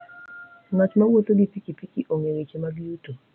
Ng'at mowuotho gi pikipiki ong'eyo weche mag yuto.